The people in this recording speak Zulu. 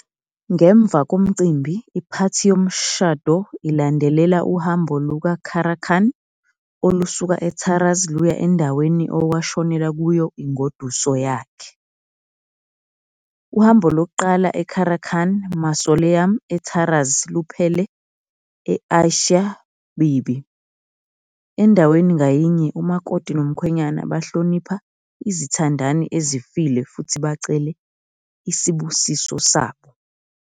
Ngemva komcimbi iphathi yomshado ilandelela uhambo luka-Karakhan olusuka e-Taraz luya endaweni okwashonela kuyo ingoduso yakhe. Uhambo luqala eKarakhan Mausoleum e-Taraz luphele e-Aisha Bibi, endaweni ngayinye umakoti nomkhwenyana bahlonipha izithandani ezifile futhi bacele isibusiso sabo.